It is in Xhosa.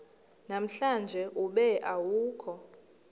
namhlanje ube awukho